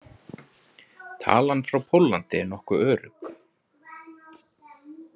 Talan frá Póllandi er nokkuð örugg.